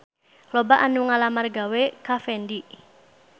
Loba anu ngalamar gawe ka Fendi